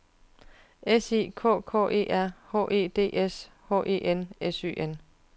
S I K K E R H E D S H E N S Y N